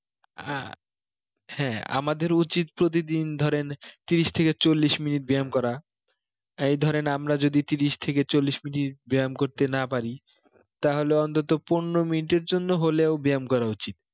আহ হ্যাঁ আমাদের উচিত প্রতিদিন ধরেন তিরিশ থেকে চল্লিশ মিনিট ব্যাম করা এই ধরেন আমরা যদি তিরিশ থেকে চল্লিশ মিনিট ব্যাম করতে না পারি তাহলে অন্তত পনেরো মিনিটের জন্য হলেও ব্যাম করা উচিত